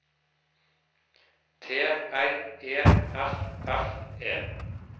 T R E F F E